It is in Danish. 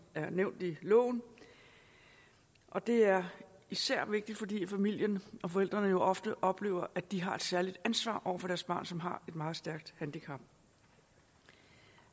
er nævnt i loven og det er især vigtigt fordi familien og forældrene jo ofte oplever at de har et særligt ansvar over for deres barn som har meget stort handicap